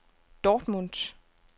Dortmund